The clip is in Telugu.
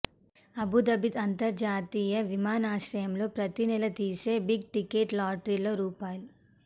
అబుధాబి అంతర్జాతీయ విమానాశ్రయంలో ప్రతినెలా తీసే బిగ్ టికెట్ లాటరీలో రూ